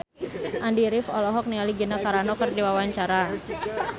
Andy rif olohok ningali Gina Carano keur diwawancara